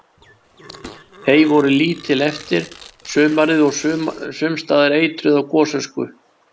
Hey voru lítil eftir sumarið og sums staðar eitruð af gosösku.